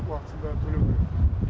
уақытысында төлеу керек